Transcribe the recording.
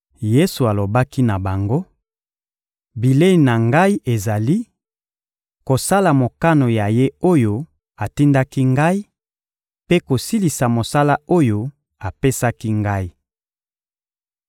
Yesu alobaki na bango: — Bilei na Ngai ezali: kosala mokano ya Ye oyo atindaki Ngai mpe kosilisa mosala oyo apesaki Ngai.